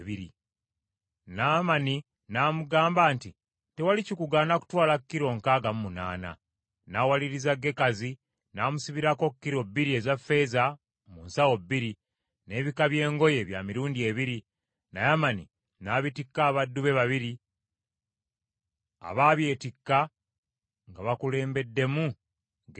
Naamani n’amugamba nti, “Tewali kikugaana kutwala kilo nkaaga munaana.” N’awaliriza Gekazi, n’amusibirako kilo bbiri eza ffeeza mu nsawo bbiri, n’ebika by’engoye bya mirundi ebiri, Naamani n’abitikka abaddu be babiri, abaabyetikka nga bakulembeddemu Gekazi.